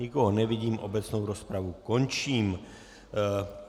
Nikoho nevidím, obecnou rozpravu končím.